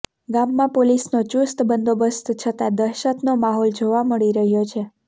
ગામમાં પોલીસનો ચૂસ્ત બંદોબસ્ત છતાં દહેશતનો માહોલ જોવા મળી રહ્યો છે